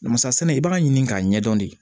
Masa sɛnɛ i b'a ɲini k'a ɲɛdɔn de